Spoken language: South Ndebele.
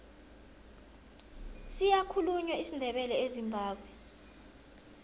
siyakhulunywa isindebele ezimbabwe